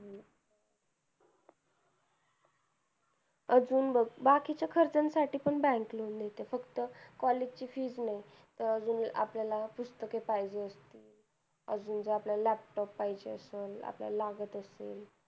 अजून बघ बाकी च खर्च साठी पण bank loan देते फक्त college ची fees नाही अजून आपल्याला पुस्तके पाहिजे अजून जर आपल्याला laptop पाहिजे असेल आपल्याला लागत असेल